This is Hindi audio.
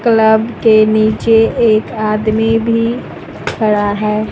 क्लब के नीचे एक आदमी भी खड़ा है।